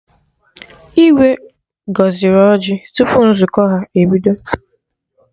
Igwe gọziri ọjị tupu nzukọ ha bido